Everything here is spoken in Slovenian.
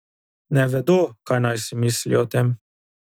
Ne vedo, kaj naj si mislijo o tem.